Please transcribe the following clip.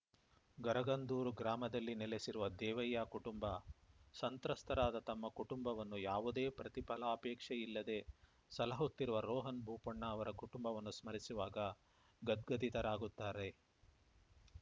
ಗರಗಂದೂರು ಗ್ರಾಮದಲ್ಲಿ ನೆಲೆಸಿರುವ ದೇವಯ್ಯ ಕುಟುಂಬ ಸಂತ್ರಸ್ತರಾದ ತಮ್ಮ ಕುಟುಂಬವನ್ನು ಯಾವುದೇ ಪ್ರತಿಫಲಾಪೇಕ್ಷೆಯಿಲ್ಲದೆ ಸಲಹುತ್ತಿರುವ ರೋಹನ್‌ ಬೋಪಣ್ಣ ಅವರ ಕುಟುಂಬವನ್ನು ಸ್ಮರಿಸುವಾಗ ಗದ್ಗದಿತರಾಗುತ್ತಾರೆ